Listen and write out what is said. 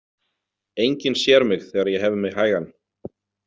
Enginn sér mig þegar ég hef mig hægan.